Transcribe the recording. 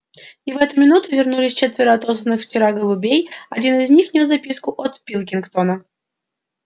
и в эту минуту вернулись четверо отосланных вчера голубей один из них нёс записку от пилкингтона